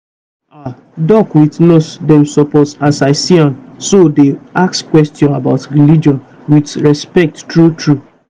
ah doc with nurse dem suppose as i see am so dey ask questions about religion with respect true true.